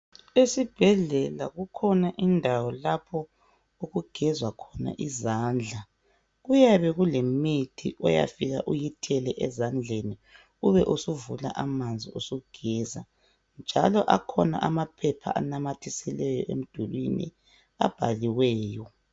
Esibhedlela kukhona indawo lapho okugezwa khona izandla, kuyabe kulemithi oyafika uyithele ezandleni, ube usuvula amanzi usugeza njalo akhona amaphepha anamathiselwe emdulwini abhaliweyo.